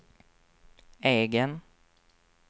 egen